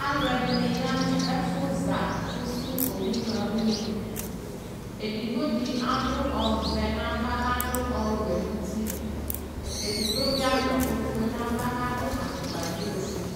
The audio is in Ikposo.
Aaluɛɖini yaa nʋ ɛfuza ƒʋsu owuɣa uneedigboɖi aɖʋ ɔvɛ n'ava, kaɖʋ ɔwʋɔ nʋtieɖigbo bi aɖʋ ofue n'ava kaɖʋ afukpa bi ofue